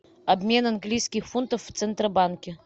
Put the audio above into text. обмен английских фунтов в центробанке